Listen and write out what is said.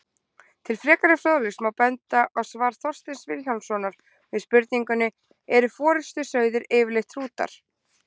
Til frekari fróðleiks má benda á svar Þorsteins Vilhjálmssonar við spurningunni Eru forystusauðir yfirleitt hrútar?